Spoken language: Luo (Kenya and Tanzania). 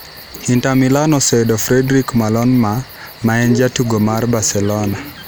Inter Milan oseyudo fredric Malohma ma en jatugo mar Barcelona